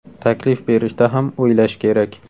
Taklif berishda ham o‘ylash kerak.